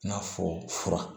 N'a fɔ fura